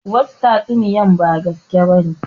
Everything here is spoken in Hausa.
Wasu tatsuniyan ba gaskiya bane